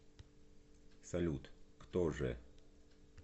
салют кто же